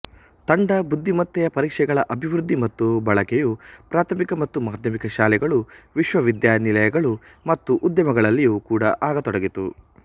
ತಂಡ ಬುದ್ಧಿಮತ್ತೆಯ ಪರೀಕ್ಷೆಗಳ ಅಭಿವೃದ್ಧಿ ಮತ್ತು ಬಳಕೆಯು ಪ್ರಾಥಮಿಕ ಮತ್ತು ಮಾಧ್ಯಮಿಕ ಶಾಲೆಗಳು ವಿಶ್ವವಿದ್ಯಾನಿಲಯಗಳು ಮತ್ತು ಉದ್ಯಮಗಳಲ್ಲಿಯೂ ಕೂಡ ಆಗತೊಡಗಿತು